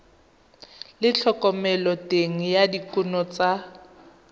le thomeloteng ya dikuno tsa